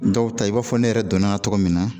Dɔw ta i b'a fɔ ne yɛrɛ dɔnna tɔgɔ min na